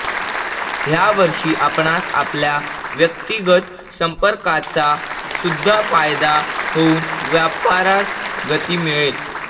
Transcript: ह्या वर्षी आपणास आपल्या व्यक्तिगत संपर्काचा सुद्धा फायदा होऊन व्यापारास गती मिळेल